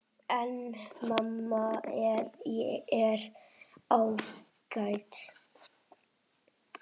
En mamma er ágæt.